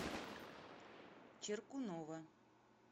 черкунова